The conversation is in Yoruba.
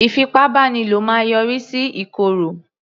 Ìfipábánilo máa yọrí sí ìkòrò